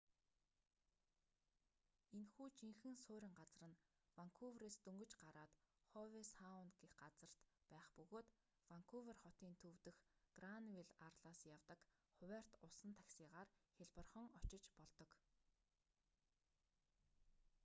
энэхүү жинхэнэ суурин газар нь ванкуверээс дөнгөж гараад хове саунд гэх газарт байх бөгөөд ванкувер хотын төв дэх гранвилл арлаас явдаг хуваарьт усан таксигаар хялбархан очиж болдог